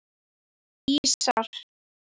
Ísar